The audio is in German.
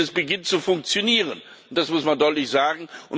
Dieses beginnt zu funktionieren, das muss man deutlich sagen.